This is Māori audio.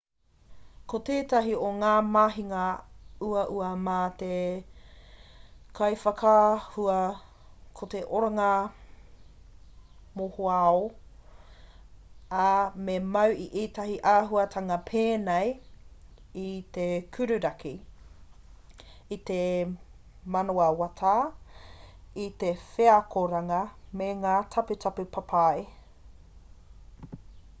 ko tētahi o ngā mahinga uaua mā te kaiwhakaahua ko te oranga mohoao ā me mau i ētahi āhuatanga pēnei i te kururaki i te manawatā i te wheakoranga me ngā taputapu papai